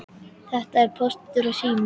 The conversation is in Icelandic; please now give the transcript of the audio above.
Þetta voru Póstur og Sími.